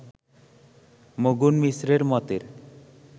মণ্ডন মিশ্রের মতের